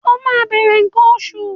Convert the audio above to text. O máa bẹ̀rẹ̀ nǹkan oṣù.